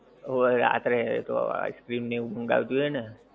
ઓય રાત્રે એ તો ice cream ને એ મંગાવ્યું હતું એ ને